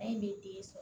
A ye ne den sɔrɔ